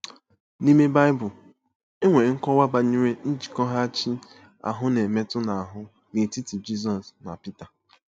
N'ime Bible, e nwere nkọwa banyere njikọghachi ahụ na-emetụ n'ahụ́ n'etiti Jizọs na Pita.